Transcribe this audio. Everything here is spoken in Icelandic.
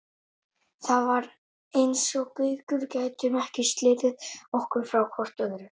Það var eins og við Gaukur gætum ekki slitið okkur frá hvort öðru.